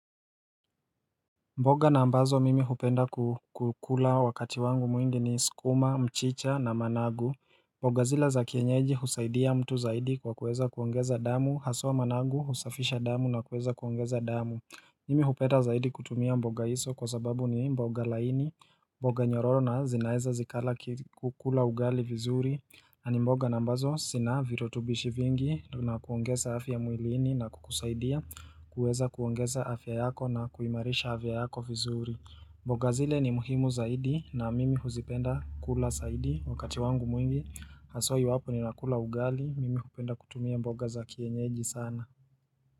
Mboga na ambazo mimi hupenda kukula wakati wangu mwingi ni skuma, mchicha na managu mboga zila za kienyeji husaidia mtu zaidi kwa kuweza kuongeza damu haswa managu husafisha damu na kuweza kuongeza damu Mimi hupenda zaidi kutumia mboga iso kwa sababu ni mboga laini mboga nyororo na zinaeza zikala kukula ugali vizuri Ani mboga nambazo sina virotubishi vingi na kuongeza afya muilini na kukusaidia kuweza kuongeza afya yako na kuimarisha afya yako vizuri. Mboga zile ni muhimu zaidi na mimi huzipenda kula saidi wakati wangu mwingi. Haswa iwapo ni nakula ugali, mimi hupenda kutumia mboga za kienyeji sana.